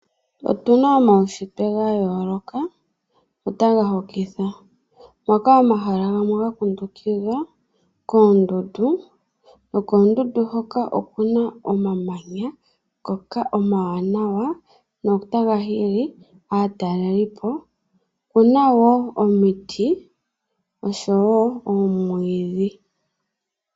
Otuna omaushitwe ga yooloka notaga hokitha moka omahala gamwe ga kundukidhwa koondundu, nokoondundu hoka oku na omamanya ngoka omawanawa notaga hili aataleli po. Oku na wo omiti noshowo oomwiidhi.